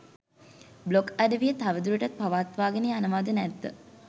blog අඩවිය තවදුරටත් පවත්වාගෙන යනවාද නැද්ද